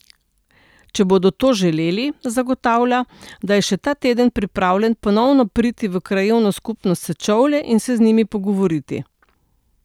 Če bodo to želeli, zagotavlja, da je še ta teden pripravljen ponovno priti v krajevno skupnost Sečovlje in se z njimi pogovoriti.